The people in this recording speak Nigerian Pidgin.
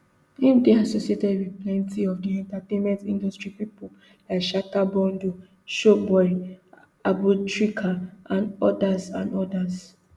im dey associated wit plenty of di entertainment industry pipo like shatta bundle showboy abutrica and odas and odas